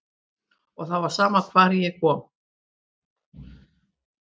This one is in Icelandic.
Og það var sama hvar ég kom.